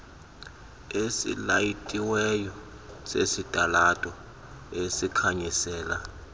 esilayitiweyo sesitalato esikhanyisela